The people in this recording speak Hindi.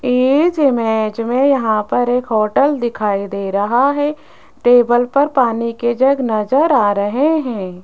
इज इमेज में यहां पर एक होटल दिखाई दे रहा है टेबल पर पानी के जग नजर आ रहे हैं।